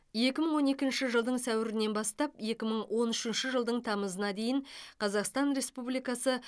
екі мың он екінші жылдың сәуірінен бастап екі мың он үшінші жылдың тамызына дейін қазақстан республикасы